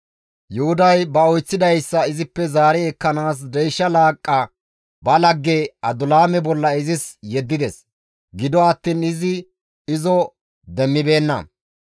Yuhuday ba oyththidayssa izippe zaari ekkanaas deysha laaqqa ba lagge Adulaame bolla izis yeddides; gido attiin izi izo demmibeenna.